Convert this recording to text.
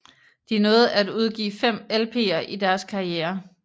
De nåede at udgive fem LPer i deres karriere